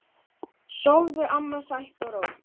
Sofðu, amma, sætt og rótt.